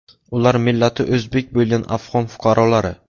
Ular millati o‘zbek bo‘lgan afg‘on fuqarolari.